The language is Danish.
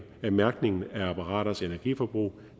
af mærkningen af apparaters energiforbrug